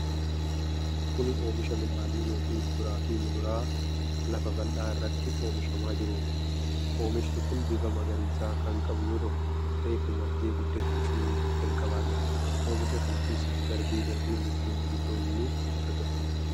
Kuni oomisha midhaanii yookiin kuduraa fi muduraa lafa bal'aa irratti oomishamaa jiruuti. Oomishi kun bifa magariisa kan qabu yoo ta'u reefu margee guddachuu jalqabaa jira. Oomisha kana keessatti darbee darbee mukkeen gurguddoon ni argamu.